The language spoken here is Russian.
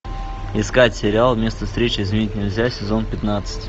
искать сериал место встречи изменить нельзя сезон пятнадцать